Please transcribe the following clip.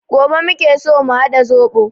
Gobe muke so mu haɗa zobo